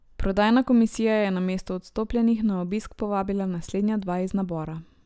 Prodajna komisija je namesto odstopljenih na obisk povabila naslednja dva iz nabora.